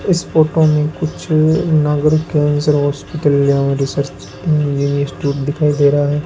इस फोटो में कुछ नागरिक कैंसर हॉस्पिटल या रिसर्च इंजीनियर इंस्टिट्यूट दिखाई दे रहा है।